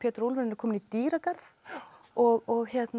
úlfurinn er kominn í dýragarð og